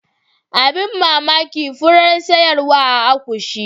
Abin mamaki furar sayarwa a akushi.